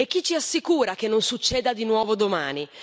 E chi ci assicura che non succeda di nuovo domani?